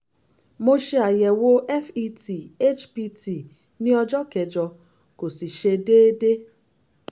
mo ṣe àyẹ̀wò fet hpt ní ọjọ́ kẹjọ kò sì ṣe déedé